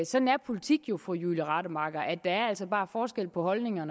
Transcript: sådan er politik jo fru julie rademacher der er altså bare forskel på holdninger